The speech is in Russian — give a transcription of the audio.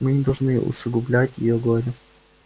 мы не должны усугублять её горе